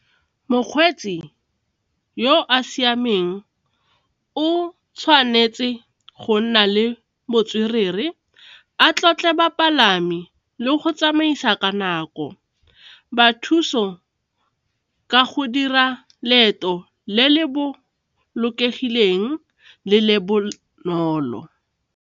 Mokgweetsi yo a siameng o tshwanetse go nna le botswerere, a tlotle bapalami le go tsamaisa ka nako, ba thuso ka go dira leeto le le bolokegileng le le bonolo.